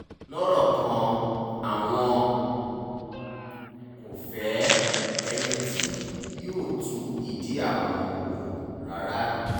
lọ́rọ̀ kan àwọn kò fẹ́ ẹni tí yóò tú ìdí àwọn wò rárá